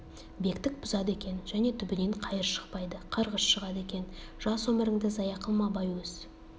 бектік бұзады екен және түбінен қайыр шықпайды қарғыс шығады екен жас өміріңді зая қылма абай өз